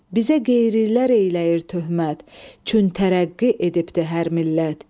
Bizə qeyrilər eyləyir töhmət, çün tərəqqi edibdir hər millət.